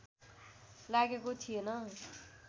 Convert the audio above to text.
लागेको थिएन